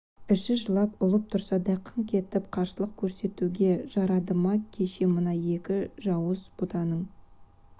іші жылап ұлып тұрса да қыңқ етіп қарсылық көрсетуге жарады ма кеше мына екі жауыз бұтаның